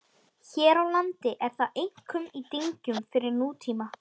Hér á landi er það einkum í dyngjum frá nútíma.